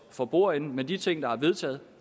for bordenden men de ting der er vedtaget